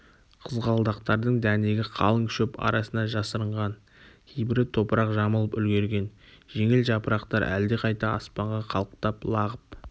қызғалдақтардың дәнегі қалың шөп арасына жасырынған кейбірі топырақ жамылып үлгерген жеңіл жапырақтар әлдеқайда аспанға қалықтап лағып